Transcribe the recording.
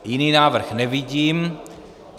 Jiný návrh nevidím.